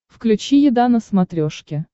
включи еда на смотрешке